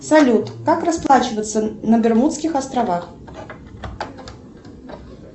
салют как расплачиваться на бермудских островах